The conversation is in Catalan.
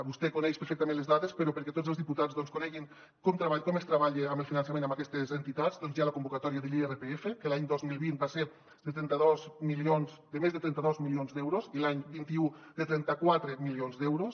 vostè coneix perfectament les dades però perquè tots els diputats coneguin com es treballa en el finançament amb aquestes entitats doncs hi ha la convocatòria de l’irpf que l’any dos mil vint va ser de trenta dos milions de més de trenta dos milions d’euros i l’any vint un de trenta quatre milions d’euros